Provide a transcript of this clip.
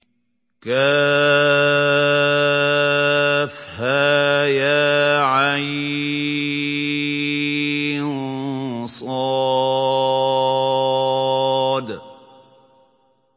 كهيعص